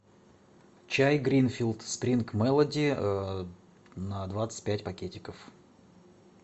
чай гринфилд спринг мелоди на двадцать пять пакетиков